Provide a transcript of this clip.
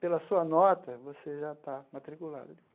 Pela sua nota, você já está matriculado.